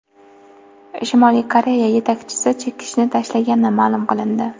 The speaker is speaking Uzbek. Shimoliy Koreya yetakchisi chekishni tashlagani ma’lum qilindi.